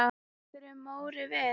Tekur Móri við?